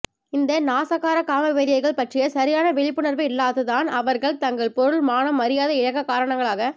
இந்த நாசகார காமவெறியர்கள் பற்றிய சரியான விழிப்புணர்வு இல்லாத்து தான் அவர்கள் தங்கள் பொருள் மானம் மரியாதை இழக்க காரணங்களாக